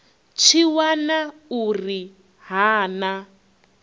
tshi wana uri ha na